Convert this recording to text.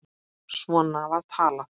Svona var talað.